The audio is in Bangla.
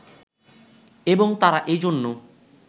এবং তারা এ জন্য